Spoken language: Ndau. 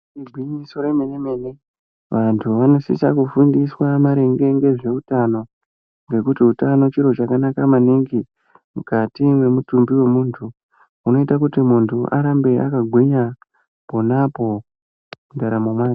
Igwinyiso remene-mene ,vantu vanosisa kufundiswa maringe ngezveutano, ngekuti utano chiro chakanaka maningi ,mukati mwemutumbi wemuntu. Hunoita kuti muntu arambe akagwinya, pona apo, mundaramo mwake.